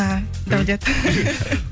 аха дәулет